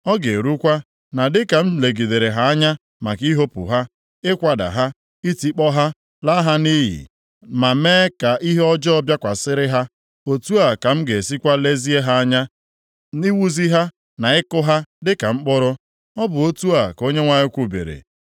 Ọ ga-erukwa na dịka m legidere ha anya maka ihopu ha, ikwada ha, itikpọ ha, laa ha nʼiyi, ma mee ka ihe ọjọọ bịakwasịrị ha, otu a ka m ga-esikwa lezie ha anya iwuzi ha na ịkụ ha dị ka mkpụrụ.” Ọ bụ otu a ka Onyenwe anyị kwubiri.